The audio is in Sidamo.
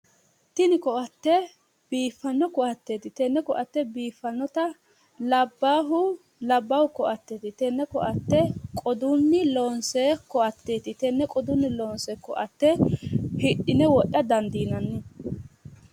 Tini ko'atte biiffanno ko'atteeti. Tenne ko'atte biiffannota labbahu labbaahu ko'atteeti. tenne ko'atte qodunni loonsoy tenne qodunni loonsoonni ko'atte hidhine wodha dandiinanni.